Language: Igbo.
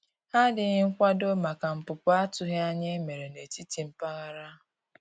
Ha dịghị nkwado maka npụpụ atụghi anya e mere na etiti mpaghara.